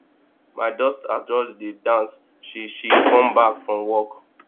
my daughter just dey dance she she come back from work